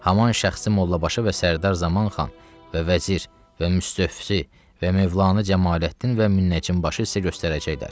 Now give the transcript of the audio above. Haman şəxsi Mollabaşı və Sərdar Zamanxan və vəzir və müstövfi və Mövlanə Cəmaləddin və Münəccimbaşı sizə göstərəcəklər.